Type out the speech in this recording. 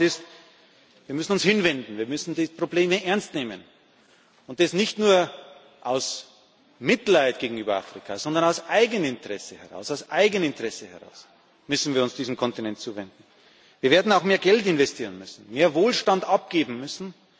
Eine Wahrheit ist Wir müssen uns hinwenden, wir müssen die Probleme ernst nehmen, und das nicht nur aus Mitleid gegenüber Afrika, sondern aus Eigeninteresse. Aus Eigeninteresse müssen wir uns diesem Kontinent zuwenden. Wir werden auch mehr Geld investieren müssen, mehr Wohlstand abgeben müssen.